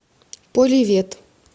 поливет